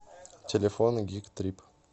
телефон гик трип